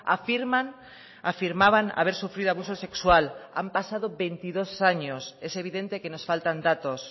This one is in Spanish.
afirman afirmaban haber sufrido abuso sexual han pasado veintidós años es evidente que nos faltan datos